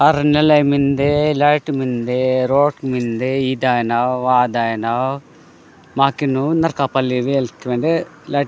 आयन नाले मिनदे रोड मिनदे लाईट मिनदे इ दाहि नाद वाह दाहि नाद माकीन नारक पाली वेल्क लाईट --